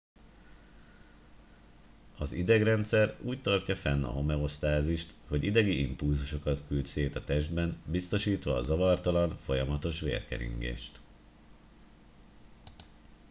az idegrendszer úgy tartja fenn a homeosztázist hogy idegi impulzusokat küld szét a testben biztosítva a zavartalan folyamatos vérkeringést